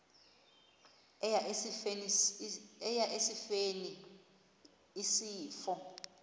eya esifeni isifo